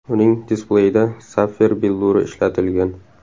Uning displeyida sapfir billuri ishlatilgan.